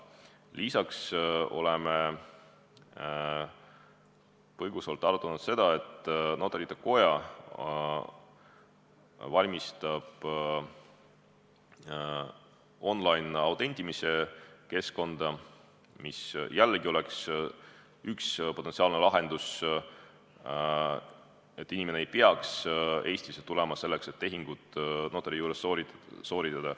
Lisaks oleme põgusalt arutanud seda, et Notarite Koda valmistab ette on-line-autentimise keskkonda, mis jällegi võiks olla üks potentsiaalseid lahendusi selleks, et inimene ei peaks Eestisse tulema, et notari juures tehingut teha.